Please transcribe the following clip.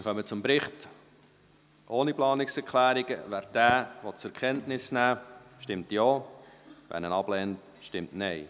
Wer den Bericht ohne Planungserklärungen zur Kenntnis nehmen will, stimmt Ja, wer dies ablehnt, stimmt Nein.